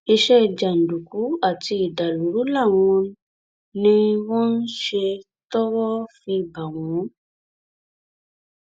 iṣẹ jàǹdùkú àti ìdàlúrú làwọn ni wọn ń ṣe tọwọ fi bá wọn